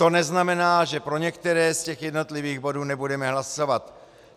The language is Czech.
To neznamená, že pro některé z těch jednotlivých bodů nebudeme hlasovat.